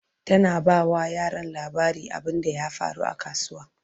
tana ba wa yaran labarin abunda ya faru a kasuwa